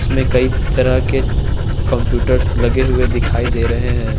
इसमें कई तरह के कम्प्यूटर्स लगे हुए दिखाई दे रहे हैं।